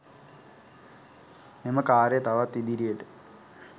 මෙම ක‍ාර්යය තවත් ඉදිරියට